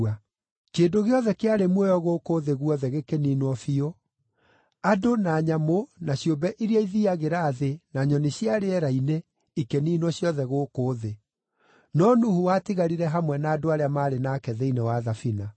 Kĩndũ gĩothe kĩarĩ muoyo gũkũ thĩ guothe gĩkĩniinwo biũ; andũ na nyamũ na ciũmbe iria ithiiagĩra thĩ na nyoni cia rĩera-inĩ ikĩniinwo ciothe gũkũ thĩ. No Nuhu watigarire hamwe na andũ arĩa maarĩ nake thĩinĩ wa thabina.